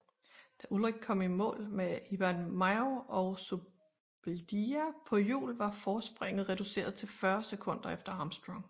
Da Ullrich kom i mål med Iban Mayo og Zubeldia på hjul var forspringet reduceret til 40 sekunder efter Armstrong